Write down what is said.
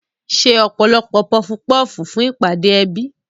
Ṣe ọ̀pọ̀lọpọ̀ pọfu pọ́fù fún ìpàdé ẹbí.